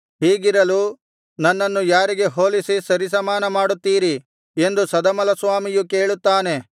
ಹೀಗಿರಲು ನನ್ನನ್ನು ಯಾರಿಗೆ ಹೋಲಿಸಿ ಸರಿಸಮಾನ ಮಾಡುತ್ತೀರಿ ಎಂದು ಸದಮಲಸ್ವಾಮಿಯು ಕೇಳುತ್ತಾನೆ